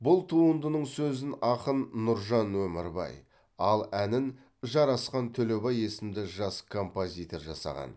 бұл туындының сөзін ақын нұржан өмірбай ал әнін жарасхан төлебай есімді жас композитор жасаған